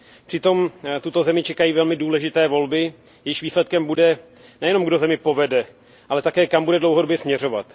Přitom tuto zemi čekají velmi důležité volby, jejichž výsledkem bude nejenom, kdo zemi povede, ale také kam bude dlouhodobě směrovat.